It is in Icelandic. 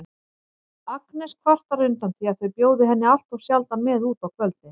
Agnes kvartar undan því að þau bjóði henni alltof sjaldan með út á kvöldin.